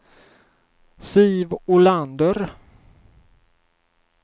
Siv Olander